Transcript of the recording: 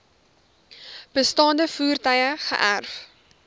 bestaande voertuie geërf